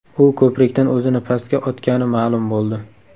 U ko‘prikdan o‘zini pastga otgani ma’lum bo‘ldi.